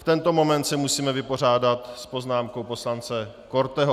V tento moment se musíme vypořádat s poznámkou poslance Korteho.